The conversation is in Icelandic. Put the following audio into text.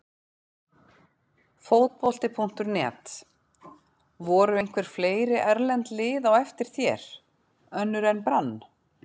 Fótbolti.net: Voru einhver fleiri erlend lið á eftir þér, önnur en Brann?